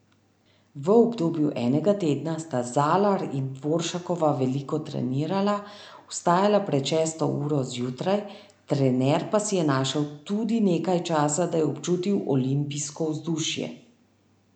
V obdobju enega tedna sta Zalar in Dvoršakova veliko trenirala, vstajala pred šesto uro zjutraj, trener pa si je našel tudi nekaj časa, da je občutil olimpijsko vzdušje.